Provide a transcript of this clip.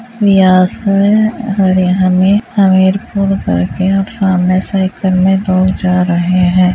हमें हमीरपुर करके आप सामने से किन्नी दूर जा रहे हैं।